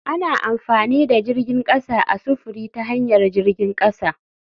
Ana amfani da jirgin kasa a sufuri ta hanyar jirgin kasa.